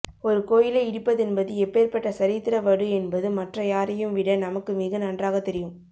ஒரு கோயிலை இடிப்பதென்பது எப்பேர்ப்பட்ட சரித்திர வடு என்பது மற்ற யாரையும் விட நமக்கு மிக நன்றாகத் தெரியும்